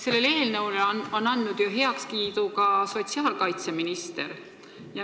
Sellele eelnõule on andnud heakskiidu ju ka sotsiaalkaitseminister.